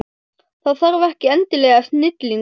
Það þarf ekki endilega snilling til.